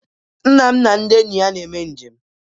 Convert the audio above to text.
Nna m na ndị enyi ya na-eme njem